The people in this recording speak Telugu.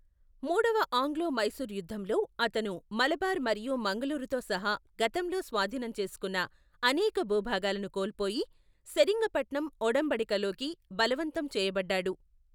మూడవ ఆంగ్లో మైసూర్ యుద్ధంలో, అతను మలబార్ మరియు మంగుళూరుతో సహా గతంలో స్వాధీనం చేసుకున్న అనేక భూభాగాలను కోల్పోయి, సెరింగపట్నం ఒడంబడికలోకి బలవంతం చేయబడ్డాడు.